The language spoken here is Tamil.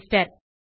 ரிஜிஸ்டர்